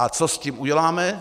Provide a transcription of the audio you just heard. A co s tím uděláme?